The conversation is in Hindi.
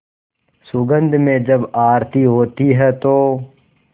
सुगंध में जब आरती होती है तो